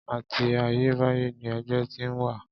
Àti ayébáyé ni ẹgbẹ́ ti ń wà.